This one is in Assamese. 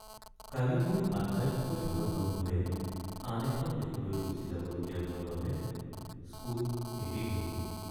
কালি মোৰ আটাইতকৈ ভাল বন্ধুৱে আন এখন দেশলৈ গুচি যাবলগীয়া হোৱাৰ বাবে স্কুল এৰি গ’ল।